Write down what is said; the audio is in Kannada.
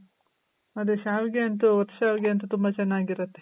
ಅದೆ ಶಾವಿಗೆ ಅಂತು ಒತ್ ಶಾವಿಗೆ ಅಂತು ತುಂಬ ಚೆನ್ನಾಗಿರುತ್ತೆ.